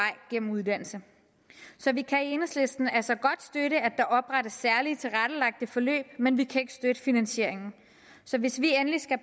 gennem uddannelse så vi kan i enhedslisten altså godt støtte at der oprettes særlig tilrettelagte forløb men vi kan ikke støtte finansieringen så hvis vi endelig skal